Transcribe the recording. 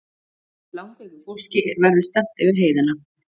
Langveiku fólki verði stefnt yfir heiðina